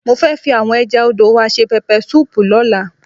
Mo fẹ́ fi àwọn ẹja odò wa ṣe pẹpẹ súùpù lọ́la.